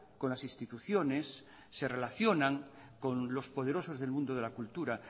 con las instituciones se relacionan con los poderosos del mundo de la cultura